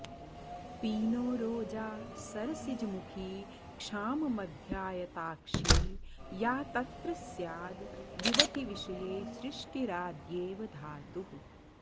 पीनोरोजा सरसिजमुखी क्षाममध्याऽऽयताक्षी या तत्र स्याद् युवतिविषये सृष्टिराद्येव धातुः